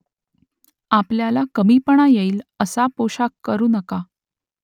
आपल्याला कमीपणा येईल असा पोषाख करू नका